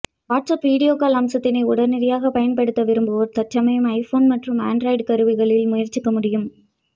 WhatsApp video call அம்சத்தினை உடனடியாக பயன்படுத்த விரும்புவோர் தற்சமயம் ஐபோன் மற்றும் ஆண்ட்ராய்டு கருவிகளில் முயற்சிக்க முடியும்